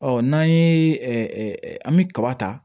Ɔ n'an ye an bɛ kaba ta